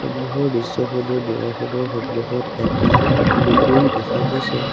সন্মুখৰ দৃশ্যখনত দুৱাৰখনৰ সন্মুখত এটা মেকুৰী দেখা গৈছে।